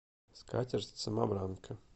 скатерть самобранка